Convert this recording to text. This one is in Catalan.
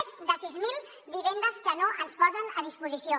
més de sis mil vivendes que no ens posen a disposició